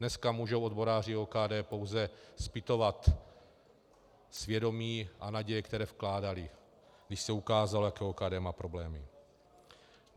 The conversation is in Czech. Dneska můžou odboráři OKD pouze zpytovat svědomí a naděje, které vkládali, když se ukázalo, jaké má OKD problémy.